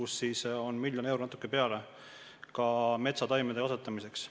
Selleks on miljon eurot ja natuke peale ka just metsataimede kasvatamiseks.